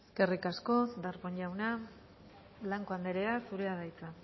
eskerrik asko darpón jauna blanco andrea zurea da hitza